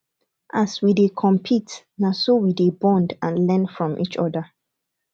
as we dey compete na so we dey bond and learn from each other